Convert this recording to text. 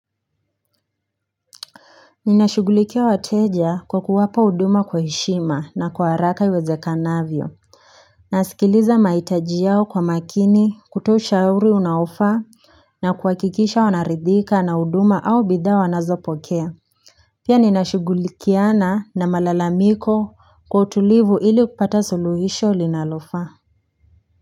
Ninashugulikia wateja kwa kuwapa uduma kwa heshima na kwa haraka iwezekanavyo Nasikiliza maitaji yao kwa makini kutoa ushauri unaofaa na kuwakikisha wanaridhika na huduma au bidhaa wanazo pokea Pia ninashugulikiana na malalamiko kwa utulivu ili kupata suluhisho linalofaa.